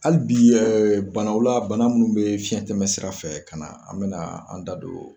Hali bi banaw la bana munnu bɛ fiɲɛtɛmɛ sira fɛ ka na, an bina, an da don